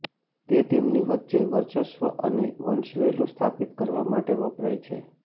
તે તેમની વચ્ચે વર્ચસ્વ અને વંશવેલો સ્થાપિત કરવા માટે વપરાય છે